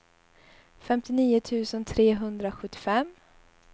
femtionio tusen trehundrasjuttiofem